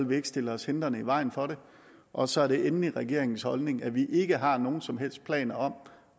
vi ikke stille os hindrende i vejen for det og så er det endelig regeringens holdning at vi ikke har nogen som helst planer om